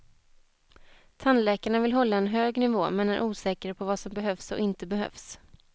Tandläkarna vill hålla en hög nivå men är osäkra på vad som behövs och inte behövs.